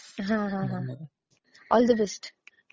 हा, हा, हा. All the best.